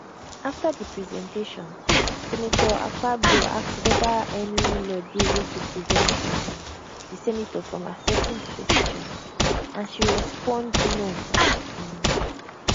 afta di presentation senator akpabio ask weda any law dey wey go prevent um di senate from accepting di petition and she she respond no um